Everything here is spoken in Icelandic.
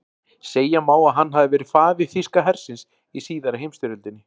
Segja má að hann hafi verið faðir þýska hersins í síðari heimsstyrjöldinni.